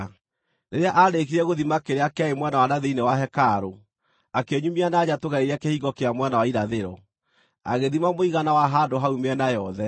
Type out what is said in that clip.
Rĩrĩa aarĩkirie gũthima kĩrĩa kĩarĩ mwena wa na thĩinĩ wa hekarũ, akĩnyumia na nja tũgereire kĩhingo kĩa mwena wa irathĩro, agĩthima mũigana wa handũ hau mĩena yothe: